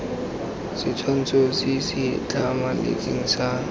setshwantsho se se tlhamaletseng sa